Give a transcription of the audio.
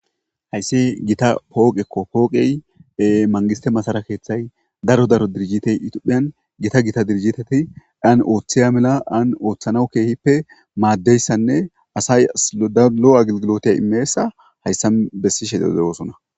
Hayisi gita pooqekko pooqey mangiste masarakethay daro daro dirjitey ituphiyan gita gita dirjiteti daan ooththeya mela aan ooththana keehippe maaddeyssanne asay slodalo'agilgilote imeessa hayssam bessishe de'eosona